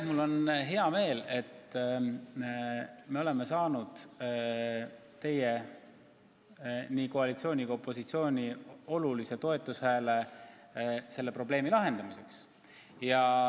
Mul on hea meel, et me oleme saanud nii koalitsiooni kui ka opositsiooni olulise toetushääle selle probleemi lahendamiseks.